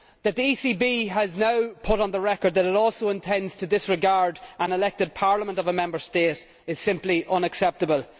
That the ECB has now put on the record that it also intends to disregard an elected Parliament of a Member State is simply unacceptable.